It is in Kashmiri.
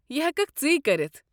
یہِ ہٮ۪ککھ ژٕے کٔرتھ۔